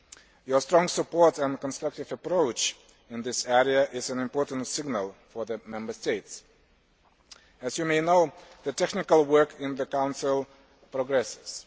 Your strong support and constructive approach in this area is an important signal for the Member States. As you may know, the technical work in the Council progresses.